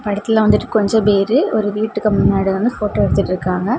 படத்தில வந்துட்டு கொஞ்ச பேரு ஒரு வீட்டுக்கு முன்னாடி வந்து போட்டோ எடுத்துட்டுருக்காங்க.